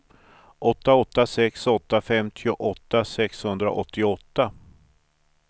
åtta åtta sex åtta femtioåtta sexhundraåttioåtta